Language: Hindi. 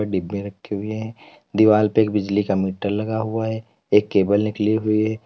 डिब्बे रक्खे हुए है दीवाल पे एक बिजली का मीटर लगा हुआ है एक केबल निकली हुई है।